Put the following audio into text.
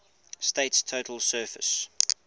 state's total surface